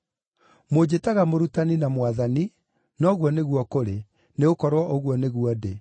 Mũnjĩtaga ‘Mũrutani’ na ‘Mwathani’, na ũguo nĩguo kũrĩ, nĩgũkorwo ũguo nĩguo ndĩ.